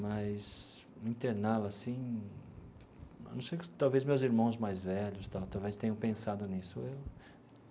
Mas interná-la, assim não sei... Talvez meus irmãos mais velhos e tal talvez tenham pensado nisso.